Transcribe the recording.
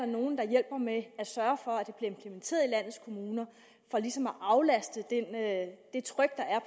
nogle der hjælper med at sørge for at i landets kommuner for ligesom at aflaste det tryk der er